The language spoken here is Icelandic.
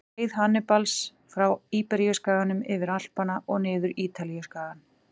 Leið Hannibals frá Íberíuskaganum, yfir Alpana og niður Ítalíuskagann.